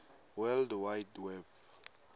world wide web